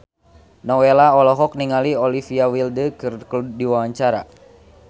Nowela olohok ningali Olivia Wilde keur diwawancara